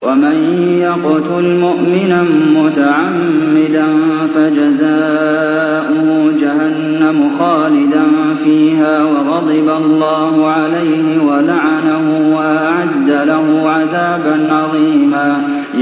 وَمَن يَقْتُلْ مُؤْمِنًا مُّتَعَمِّدًا فَجَزَاؤُهُ جَهَنَّمُ خَالِدًا فِيهَا وَغَضِبَ اللَّهُ عَلَيْهِ وَلَعَنَهُ وَأَعَدَّ لَهُ عَذَابًا عَظِيمًا